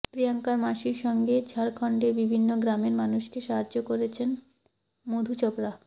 প্রিয়াঙ্কার মাসির সঙ্গে ঝাড়খন্ডের বিভিন্ন গ্রামের মানুষকে সাহায্য করছেন মধু চোপড়া